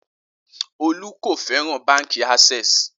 Olú kò fẹ́ràn Báńkì Access.